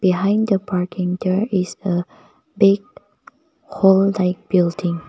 behind the parking there is a big whole like building.